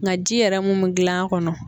Nka ji yɛrɛ mun mi gilan a kɔnɔ